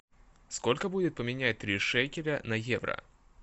сколько будет поменять три шекеля на евро